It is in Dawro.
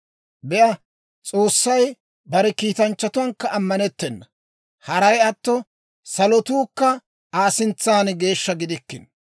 Be'a, S'oossay bare kiitanchchatuwaankka ammanettena; haray atto salotuukka Aa sintsan geeshsha gidikkino.